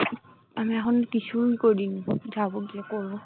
আমি এখন কিছুই করিনি যাবো গিয়ে পড়বো